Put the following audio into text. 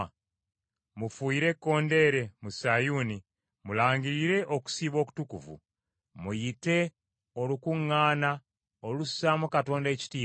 Mufuuyire ekkondeere mu Sayuuni, mulangirire okusiiba okutukuvu. Muyite olukuŋŋaana olussaamu Katonda ekitiibwa.